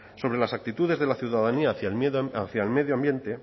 sobre las actitudes de la ciudadanía hacia el medio ambiente